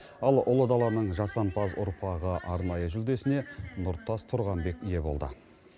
ал ұлы даланың жасампаз ұрпағы арнайы жүлдесіне нұртас тұрғанбек ие болды